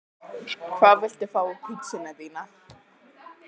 Hvað viltu fá á pizzuna þína?